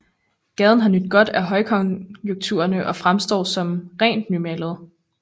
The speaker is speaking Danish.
Gaden har nydt godt af højkonjunkturerne og fremstår som ret nymalet